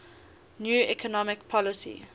new economic policy